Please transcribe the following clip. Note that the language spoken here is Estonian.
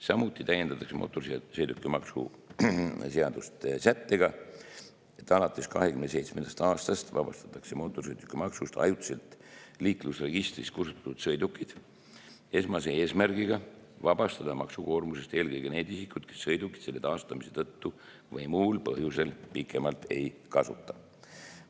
Samuti täiendatakse mootorsõidukimaksu seadust sättega, et alates 2027. aastast vabastatakse mootorsõidukimaksust ajutiselt liiklusregistrist kustutatud sõidukid, esmase eesmärgiga vabastada maksukoormusest eelkõige need isikud, kes sõidukit selle taastamise tõttu või muul põhjusel pikemalt ei kasuta.